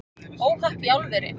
Óhapp í álveri